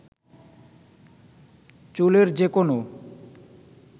চুলের যে কোনো